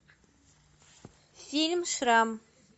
фильм шрам